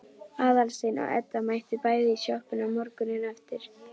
Aðalsteinn og Edda mættu bæði í sjoppuna morguninn eftir.